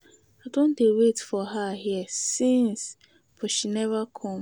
I don dey wait for her here since but she never come.